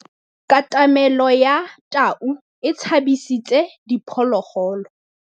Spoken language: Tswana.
Katamêlô ya tau e tshabisitse diphôlôgôlô.